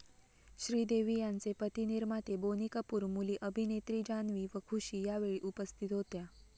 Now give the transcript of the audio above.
श्रीदेवी यांचे पती निर्माते बोनी कपूर, मुली अभिनेत्री जान्हवी व खुशी यावेळी उपस्थित होत्या.